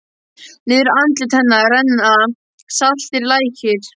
Niður andlit hennar renna saltir lækir.